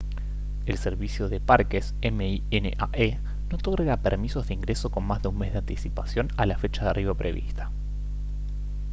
el servicio de parques minae no otorga permisos de ingreso con más de un mes de anticipación a la fecha de arribo prevista